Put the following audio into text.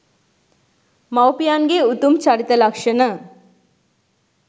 මවු පියන්ගේ උතුම් චරිත ලක්ෂණ